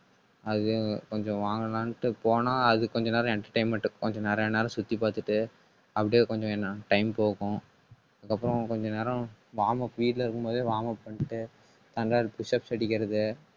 அது கொஞ்சம் வாங்கலாம்னுட்டு போனால் அது கொஞ்ச நேரம் entertainment கொஞ்சம் நிறைய நேரம் சுத்தி பார்த்துட்டு அப்படியே கொஞ்சம் என்ன time போகும். அதுக்கப்புறம் கொஞ்ச நேரம் warm up வீட்டுல இருக்கும் போதே பண்ணிட்டு தண்டால் push up அடிக்கிறது